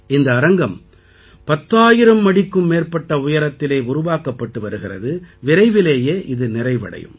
இந்த அரங்கம் 10000 அடிக்கும் மேற்பட்ட உயரத்திலே உருவாக்கப்பட்டு வருகிறது விரைவிலேயே இது நிறைவடையும்